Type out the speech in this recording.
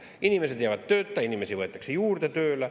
Inimesed jäävad tööta, inimesi võetakse tööle juurde.